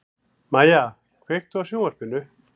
Mæja, kveiktu á sjónvarpinu.